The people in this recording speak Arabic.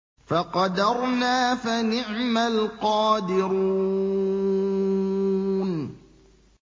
فَقَدَرْنَا فَنِعْمَ الْقَادِرُونَ